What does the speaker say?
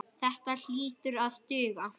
Þetta hlýtur að duga.